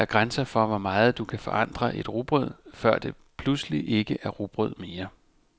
Der er grænser for, hvor meget du kan forandre et rugbrød, før det pludselig ikke er rugbrød mere.